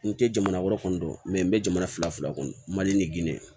N tɛ jamana wɛrɛ kɔni dɔn n bɛ jamana fila fila kɔnɔ mali